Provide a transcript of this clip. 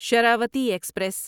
Sharavathi express